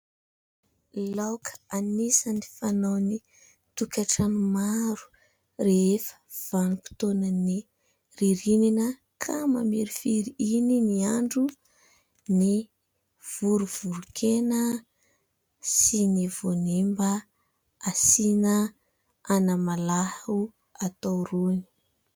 Laoka anisany fanao ny tokantrano maro rehefa vanim-potoana ny ririnina ka mamirifiry iny ny andro ny vorovoron-kena sy ny voanemba asina anamalaho atao rony.